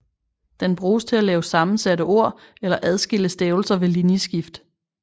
Den bruges til at lave sammensatte ord eller adskille stavelser ved linjeskift